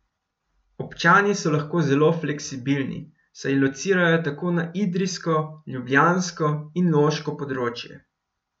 Občani so lahko zelo fleksibilni, saj locirajo tako na idrijsko, ljubljansko in loško področje.